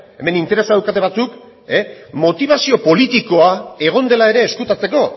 hemen interesa daukate batzuk motibazio politikoa egon dela ere ezkutatzeko